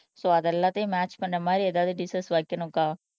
so அது எல்லாத்தையும் match பண்ண மாதிரி ஏதாவது டிஸஸ் வைக்கணும்க்கா